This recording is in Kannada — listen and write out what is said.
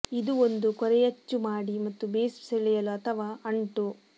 ಇದು ಒಂದು ಕೊರೆಯಚ್ಚು ಮಾಡಿ ಮತ್ತು ಬೇಸ್ ಸೆಳೆಯಲು ಅಥವಾ ಅಂಟು